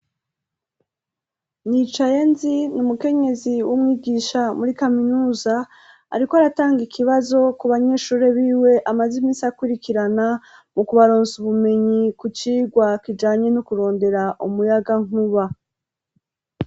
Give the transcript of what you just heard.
Nicayenzi n'umukenyezi w'umwigisha muri kaminuza ariko aratanga ikibazo ku banyeshuri b'iwe amazi misi akwirikirana mu kubaronsa ubumenyi ku cirwa kijanye no kurondera umuyaga nkuba.